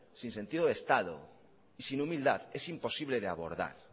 sin sentido de estado y sin humildad es imposible de abordar